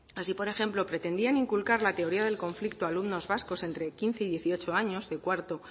así por ejemplo pretendían inculcar la teoría del conflicto a alumnos vascos entre quince y dieciocho años